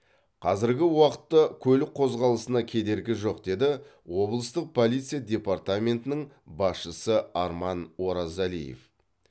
қазіргі уақытта көлік қозғалысына кедергі жоқ деді облыстық полиция департаментінің басшысы арман оразалиев